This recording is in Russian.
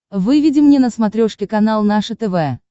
выведи мне на смотрешке канал наше тв